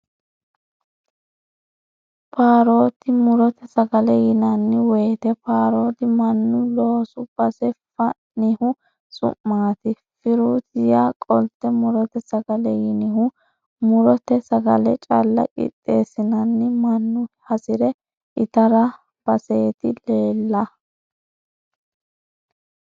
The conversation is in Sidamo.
Paroti murote sagale yinanni woyte paroti mannu loosu base fa'nihu su'mati firuti yaa qolte murote ,sagale yinihu murote sagale calla qixeesinenna mannu hasire itarati basete leelle.